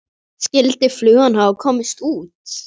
Skyldi flugan hafa komist út?